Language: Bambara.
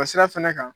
O sira fɛnɛ kan